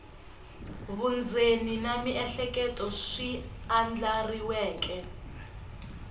vundzeni na miehleketo swi andlariweke